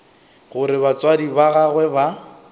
gore batswadi ba gagwe ba